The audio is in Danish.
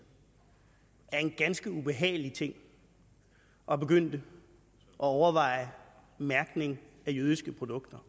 er en ganske ubehagelig ting at begynde at overveje mærkning af jødiske produkter